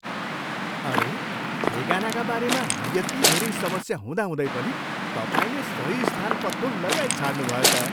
अरे! ठेगानाका बारेमा यति धेरै समस्या हुँदाहुँदै पनि तपाईँले सही स्थान पत्तो लगाइछाड्नु भयो त!